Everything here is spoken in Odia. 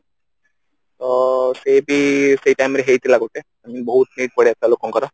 ତ ସେବି ସେ time ରେ ହେଇଥିଲା ଗୋଟେ I mean ବହୁତ need ପଳେଇଆସି ଥିଲା ଲୋକଙ୍କର